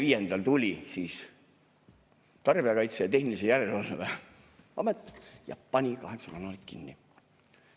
25‑ndal pani Tarbijakaitse ja Tehnilise Järelevalve Amet kaheksa kanalit kinni.